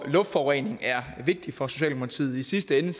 luftforurening er vigtig for socialdemokratiet i sidste ende